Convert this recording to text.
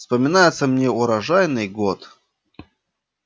вспоминается мне урожайный год